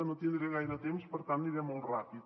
no tindré gaire temps per tant aniré molt ràpid